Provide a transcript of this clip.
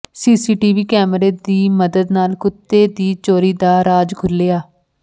CCTV ਕੈਮਰੇ ਦੀ ਮਦਦ ਨਾਲ ਕੁੱਤੇ ਦੀ ਚੋਰੀ ਦਾ ਰਾਜ਼ ਖੁੱਲ੍ਹਿਆ